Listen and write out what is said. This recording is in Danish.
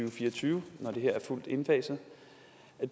og fire og tyve når det her er fuldt indfaset